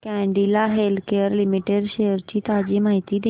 Cadila healthcare limited shares ची ताजी माहिती दे